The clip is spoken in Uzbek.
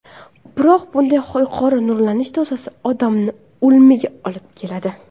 Biroq bunday yuqori nurlanish dozasi odamni o‘limga olib keladi.